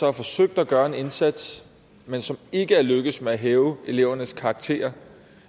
har forsøgt at gøre en indsats men som ikke er lykkedes med at hæve elevernes karakterer